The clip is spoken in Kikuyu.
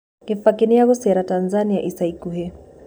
kibaki niagucera tanzania ica ĩkũhĩ